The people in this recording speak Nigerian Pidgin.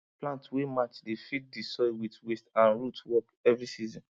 plant wey match dey feed the soil with waste and root work every season